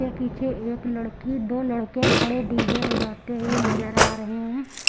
ये पिछे एक लड़की दो लड़के खड़े डी_जे हो बजाते हुए नजर आ रहे हैं।